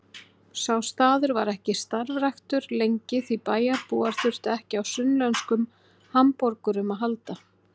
Sá staður var ekki starfræktur lengi því bæjarbúar þurftu ekki á sunnlenskum hamborgurum að halda.